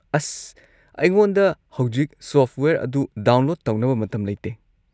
ꯑꯁ, ꯑꯩꯉꯣꯟꯗ ꯍꯧꯖꯤꯛ ꯁꯣꯐꯠꯋꯦꯌꯔ ꯑꯗꯨ ꯗꯥꯎꯟꯂꯣꯗ ꯇꯧꯅꯕ ꯃꯇꯝ ꯂꯩꯇꯦ꯫